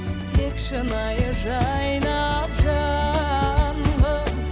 тек шынайы жайнап жаным